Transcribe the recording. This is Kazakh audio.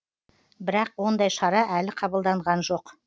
бірақ ондай шара әлі қабылданған жоқ